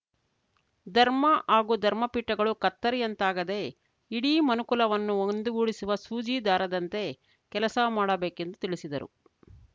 ಧರ್ಮ ಹಾಗೂ ಧರ್ಮ ಪೀಠಗಳು ಕತ್ತರಿಯಂತಾಗದೇ ಇಡೀ ಮನುಕುಲವನ್ನು ಒಂದುಗೂಡಿಸುವ ಸೂಜಿ ದಾರದಂತೆ ಕೆಲಸ ಮಾಡಬೇಕೆಂದು ತಿಳಿಸಿದರು